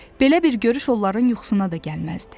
Belə bir görüş onların yuxusuna da gəlməzdi.